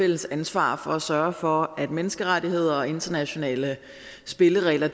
fælles ansvar for at sørge for at menneskerettigheder og internationale spilleregler